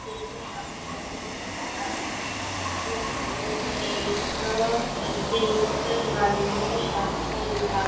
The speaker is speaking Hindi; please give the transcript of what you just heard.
जैसे आप इस तस्वीर में देख पा रहे है यह तस्वीर एक माननीय शासकीय विभाग --